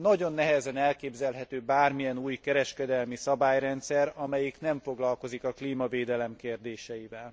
Nagyon nehezen elképzelhető bármilyen új kereskedelmi szabályrendszer, amelyik nem foglalkozik a klímavédelem kérdéseivel.